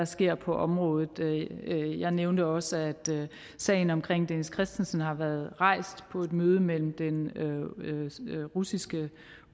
sker på området jeg nævnte også at sagen om dennis christensen har været rejst på et møde mellem den russiske